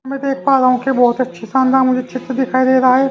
मैं देख पा रहा हूं कि बहुत अच्छा शानदार मुझे चित्र दिखाई दे रहा है ।